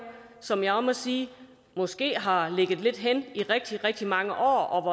som jeg må sige måske har ligget lidt hen i rigtig rigtig mange år og